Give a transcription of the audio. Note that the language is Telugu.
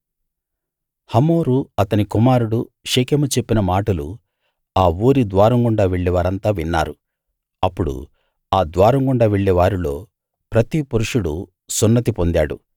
హమోరు అతని కుమారుడు షెకెము చెప్పిన మాటలు ఆ ఊరి ద్వారం గుండా వెళ్ళేవారంతా విన్నారు అప్పుడు ఆ ద్వారం గుండా వెళ్ళే వారిలో ప్రతి పురుషుడు సున్నతి పొందాడు